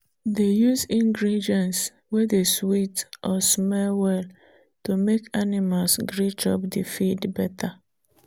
dey use ingredients wey dey sweet or smell well to make animals gree chop di feed better